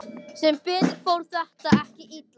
Sem betur fer fór þetta ekki illa.